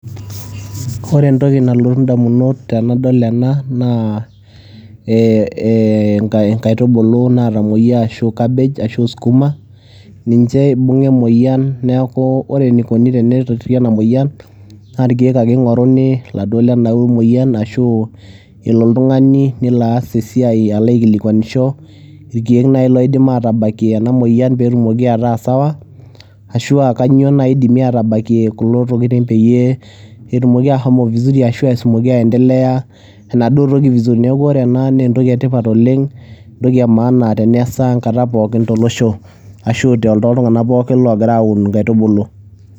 Ore entoki nalotu indamunot tenadol ena naa ee ee inka inkaitubulu naatomueyia ashu cabbage ashu skuma, ninche ibung'a emoyian. Neeku ore enikoni tenitori ena muoyian naa irkeek ake ing'oruni iladuo lena moyian ashu elo oltung'ani nelo aas esiai alo aikilikuanisho irkeek nai laidim aatabakie ena moyian peetumoki ataa sawa, ashu aa kanyo nai idimi aatabakie kulo tokitin peyie etumoki aashomo vizuri ashu etumoki aendelea enaduo toki vizuri. Neeku ore ena nee entoki e tipat oleng' entoki e maana teneesa enkata pookin tolosho ashu toltung'anak pookin loogira aun inkaitubulu.